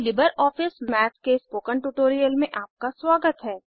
LibreOffice Math के spoken tutorial में आपका स्वागत है